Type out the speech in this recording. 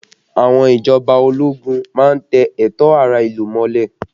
Àwọn ìjọba ológun má ń tẹ ẹ̀tọ́ ará ìlú mọ́lẹ̀